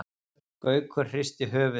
Gaukur hristi höfuðið.